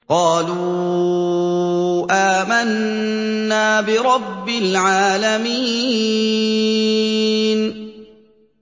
قَالُوا آمَنَّا بِرَبِّ الْعَالَمِينَ